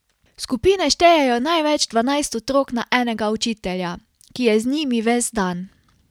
Skupine štejejo največ dvanajst otrok na enega učitelja, ki je z njimi ves dan.